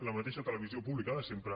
la mateixa televisió pública de sempre